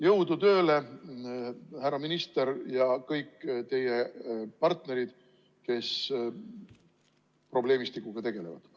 Jõudu tööle, härra minister ja kõik teie partnerid, kes probleemistikuga tegelevad!